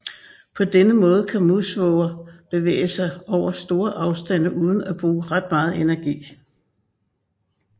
På denne måde kan Musvåger bevæge sig over store afstande uden at bruge ret meget energi